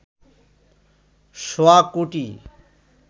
সোয়া কোটি